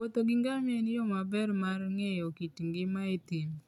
Wuotho gi ngamia en yo maber mar ng'eyo kit ngima e thim.